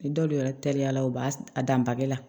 Dɔw yɛrɛ teliyala u b'a dan bage la